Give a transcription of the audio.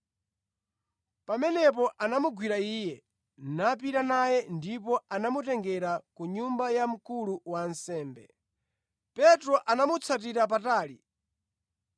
Pamenepo anamugwira Iye, napita naye ndipo anamutengera ku nyumba ya mkulu wa ansembe. Petro anamutsatira patali.